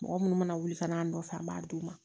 Mɔgɔ munnu mana wuli ka n'a nɔfɛ an b'a d'u ma